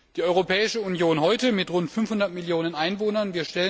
Die Europäische Union heute mit rund 500 Millionen Einwohnern?